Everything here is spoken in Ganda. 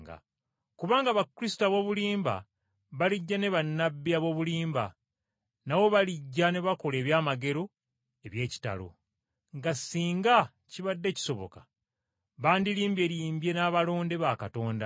Kubanga bakristo ab’obulimba balijja, ne bannabbi ab’obulimba nabo balijja ne bakola eby’amagero n’ebyewuunyo; nga singa kibadde kisoboka, bandilimbyelimbye n’abalonde ba Katonda.